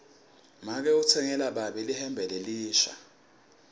make utsengele babe lihembe lelisha